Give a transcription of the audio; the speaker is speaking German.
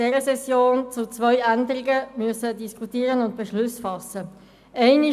das HGG werden wir zwei Änderungen diskutieren und dazu Beschlüsse fassen müssen.